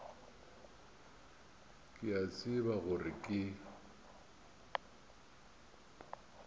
ke a tseba gore ke